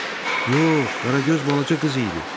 Yox, Qaragöz balaca qız idi.